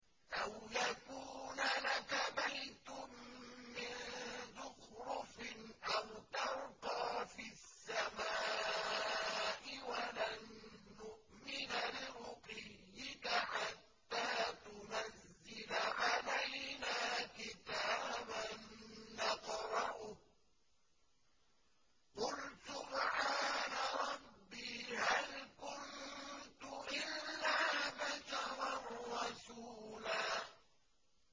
أَوْ يَكُونَ لَكَ بَيْتٌ مِّن زُخْرُفٍ أَوْ تَرْقَىٰ فِي السَّمَاءِ وَلَن نُّؤْمِنَ لِرُقِيِّكَ حَتَّىٰ تُنَزِّلَ عَلَيْنَا كِتَابًا نَّقْرَؤُهُ ۗ قُلْ سُبْحَانَ رَبِّي هَلْ كُنتُ إِلَّا بَشَرًا رَّسُولًا